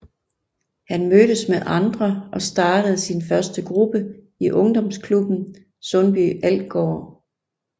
Han mødtes med andre og startede sin første gruppe i ungdomsklubben Sundby Algård